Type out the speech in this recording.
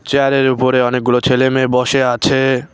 চেয়ারের উপরে অনেকগুলো ছেলেমেয়ে বসে আছে।